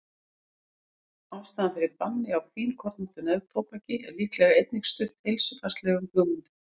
ástæðan fyrir banni á fínkornóttu neftóbaki er líklega einnig stutt heilsufarslegum hugmyndum